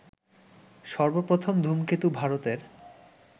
সর্বপ্রথম ধূমকেতু ভারতের